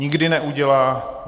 Nikdy neudělá.